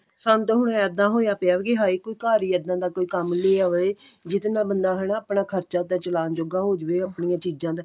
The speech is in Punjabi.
ਸਾਨੂੰ ਤੇ ਹੁਣ ਇੱਦਾਂ ਹੋਇਆ ਪਿਆ ਕੀ ਹਾਏ ਕੋਈ ਘਰ ਹੀ ਇੱਦਾਂ ਦਾ ਕੋਈ ਕੰਮ ਲੈ ਆਵੇ ਜਿਹਦੇ ਨਾਲ ਬੰਦਾ ਹਨਾ ਆਪਣਾ ਖਰਚਾ ਤੇ ਚਲਾਉਣ ਜੋਗਾ ਹੋ ਜਾਵੇ ਆਪਣੀਆਂ ਚੀਜ਼ਾਂ ਦਾ